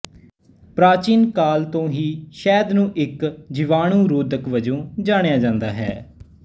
ਪ੍ਰਾਚੀਨ ਕਾਲ ਤੋਂ ਹੀ ਸ਼ਹਿਦ ਨੂੰ ਇੱਕ ਜੀਵਾਣੁਰੋਧਕ ਵਜੋਂ ਜਾਣਿਆ ਜਾਂਦਾ ਰਿਹਾ ਹੈ